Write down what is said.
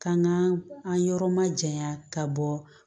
K'an ka an yɔrɔ ma janya ka bɔ